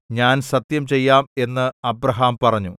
ഞാൻ സത്യം ചെയ്യാം എന്ന് അബ്രാഹാം പറഞ്ഞു